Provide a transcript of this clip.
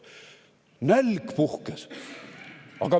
Nälg puhkes.